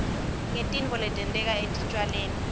ngetitfo letenteka etitjalweni